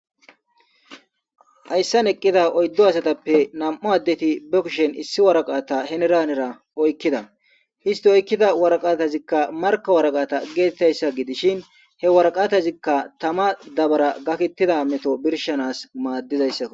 hayssan eqqida oyddo asatappe nam7u addeti bekishen issi waraqata heneraanera oykkida histi oykkida waraqatazikka marka waraqata geetettayssa gidishin he waraqatazikka tama dabara gakettida meto birshanas maaddizayssakk